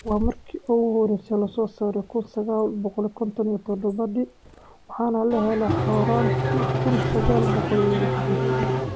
Waxaa markii ugu horreysay la soo saaray kuun sagal boqool kontoon iyo todobadii, waxaana la helay horraantii kuun sagaal boqool iyo lixdan-kii.